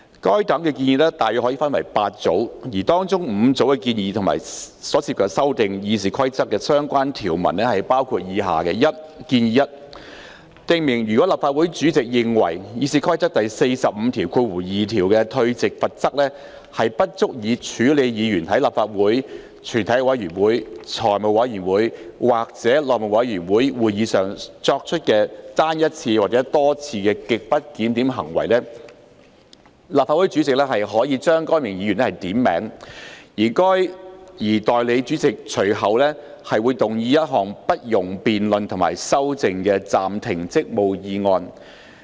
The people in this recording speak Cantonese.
該等建議可分為8組，當中5組建議涉及修訂《議事規則》的相關條文，包括：―建議 1： 訂明如立法會主席認為《議事規則》第452條的退席罰則不足以處理議員在立法會、全體委員會、財務委員會或內務委員會會議上作出的單一次或多次極不檢點行為，立法會主席可將該議員點名，而代理主席隨即動議一項不容辯論及修正的暫停職務議案。